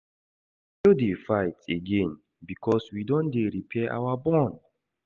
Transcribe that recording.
We no dey fight again because we don dey repair our bond.